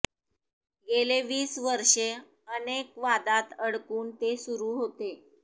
गेले वीस वर्ष अनेक वादात अडकून ते सुरु होते